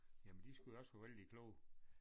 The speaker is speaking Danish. Jamen de skulle jo også være vældig kloge